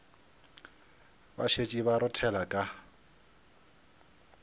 ba šetše ba rothela ka